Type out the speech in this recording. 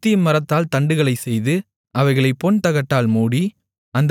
சீத்திம் மரத்தால் தண்டுகளைச் செய்து அவைகளைப் பொன்தகட்டால் மூடி